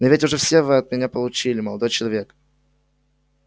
но ведь уже все вы от меня получили молодой человек